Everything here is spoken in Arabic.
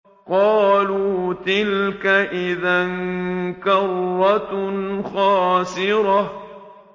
قَالُوا تِلْكَ إِذًا كَرَّةٌ خَاسِرَةٌ